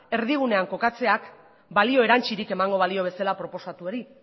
erdigunean kokatzeak balio erantsirik emango balio bezala proposatuari